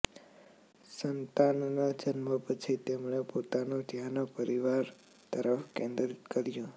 સંતાનના જન્મ પછી તેમણે પોતાનું ધ્યાન પરિવાર તરફ કેન્દ્રિત કર્યું